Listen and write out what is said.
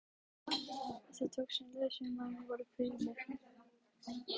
Það tókst, en leiðangursmenn voru kvíðnir.